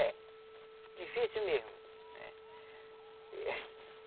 É, difícil mesmo.